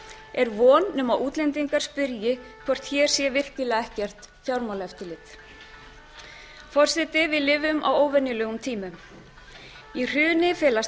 er nema von að útlendingar spyrji hvort hér sé virkilega ekkert fjármálaeftirlit forseti við lifum á óvenjulegum tímum í hruni felast